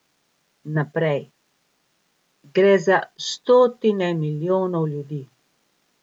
Naprej, gre za stotine milijonov ljudi.